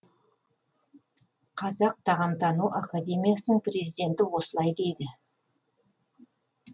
қазақ тағамтану академиясының президенті осылай дейді